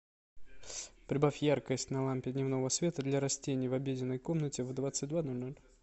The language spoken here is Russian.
прибавь яркость на лампе дневного света для растений в обеденной комнате в двадцать два ноль ноль